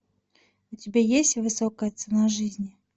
у тебя есть высокая цена жизни